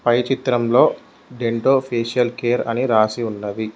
పై చిత్రంలో Dento facial care అని రాసి ఉన్నది.